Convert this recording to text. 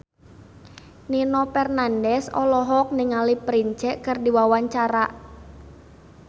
Nino Fernandez olohok ningali Prince keur diwawancara